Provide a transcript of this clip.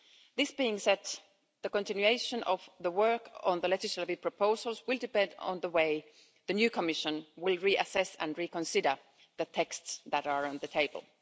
That being said, the continuation of the work on the legislative proposals will depend on the way the new Commission will reassess and reconsider the texts that are on the table.